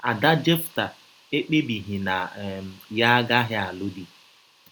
Ada Jefta ekpebighị na um ya agaghị alụ di.